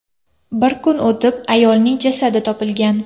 Bir kun o‘tib, ayolning jasadi topilgan.